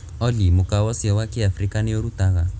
olly mukawa ūcio wa kiafrika nī ūrutaga